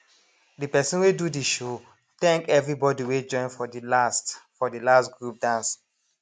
de person wey do de show thank everybody wey join for de last for de last group dance